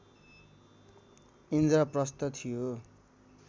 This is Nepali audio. इन्द्रप्रस्थ थियो